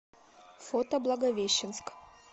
фото благовещенск